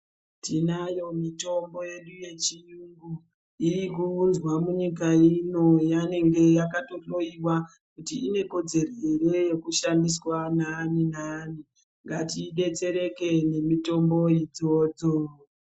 Tinayo mitombo yedu yechiyungu, iyikuunzwa munyika ino yanenge yakatohloyiwa kuti inekodzero here yekushandiswa naani naani. Ngatidetsereke nemitombo idzodzo.